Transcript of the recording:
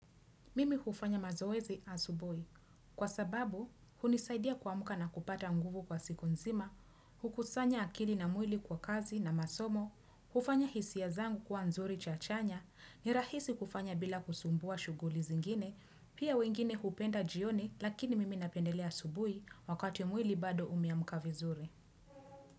Mimi hufanya mazoezi asubuhi Kwa sababu, hunisaidia kuamka na kupata nguvu kwa siku nzima, hukusanya akili na mwili kwa kazi na masomo, hufanya hisia zangu kwa nzuri chachanya, nirahisi kufanya bila kusumbua shuguli zingine, pia wengine hupenda jioni lakini mimi napendelea asubui wakati mwili bado umeamka vizuri.